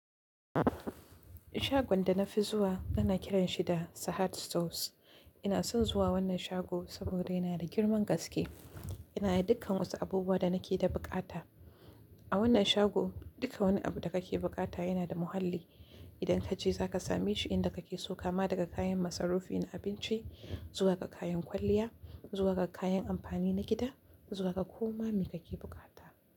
Shagon da na fi zuwa ana kiran shi da Sahad Stores. Ina son zuwa wannan shago saboda yana da girman gaske. Yana da dukkan wasu abubuwan da nake da buƙata. A wannan shago duk wani abu da kake buƙata yana da muhalli. Idan ka je za ka same shi, inda kake so kama daga kayan masarufi na abinci zuwa ga kayan kwalliya, zuwa ga kayan amfani na gida, zuwa ga kuma me kake bukata.